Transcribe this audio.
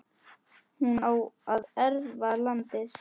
hún á að erfa landið.